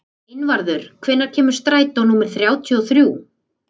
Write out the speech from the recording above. Einvarður, hvenær kemur strætó númer þrjátíu og þrjú?